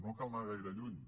no cal anar gaire lluny